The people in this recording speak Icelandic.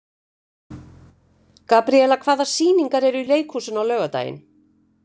Gabríela, hvaða sýningar eru í leikhúsinu á laugardaginn?